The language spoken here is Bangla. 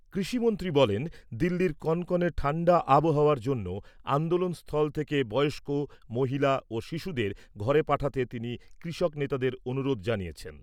কৃষিমন্ত্রী বলেন, দিল্লির কনকনে ঠাণ্ডা আবহাওয়ার জন্য আন্দোলনস্থল থেকে বয়স্ক, মহিলা ও শিশুদের ঘরে পাঠাতে তিনি কৃষক নেতাদের অনুরোধ জানিয়েছেন।